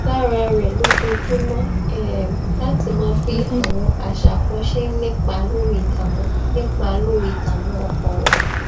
lára rè lójoojúmó um láti mọ bí àwọn àṣà kan ṣe ń nípa lórí ìdààmú nípa lórí ìdààmú ọkàn rè